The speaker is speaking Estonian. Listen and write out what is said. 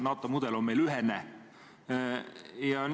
NATO mudel on meil ühene.